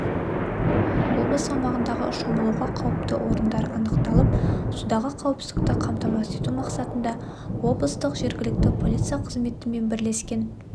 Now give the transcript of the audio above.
облыс аумағындағы шомылуға қауіпті орындар анықталып судағы қауіпсіздікті қамтамасыз ету мақсатында облыстық жергілікті полиция қызметімен бірлескен